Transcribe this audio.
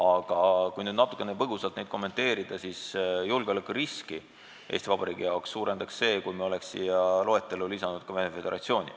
Aga kui natukene põgusalt neid kommenteerida, siis julgeolekuriski Eesti Vabariigi jaoks suurendanuks see, kui me oleks siia loetellu lisanud ka Venemaa Föderatsiooni.